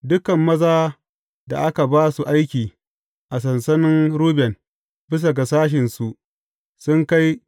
Dukan mazan da aka ba su aiki a sansanin Ruben, bisa ga sashensu sun kai